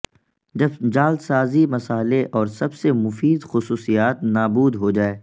جب جعلسازی مصالحے اور سب سے مفید خصوصیات نابود ہوجائے